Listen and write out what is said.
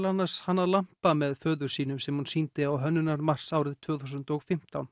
annars hannað lampa með föður sínu sem hún sýndi á Hönnunarmars tvö þúsund og fimmtán